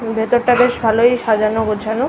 ভিতর টা বেশ ভালোই সাজানো গোছানো ।